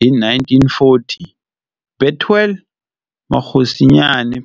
Hi 1940, Bethuel Mokgosinyane,